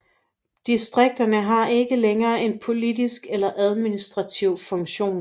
Distrikterne har ikke længere en politisk eller administrativ funktion